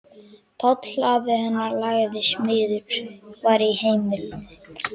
Páll afi hennar, laginn smiður, var í heimilinu.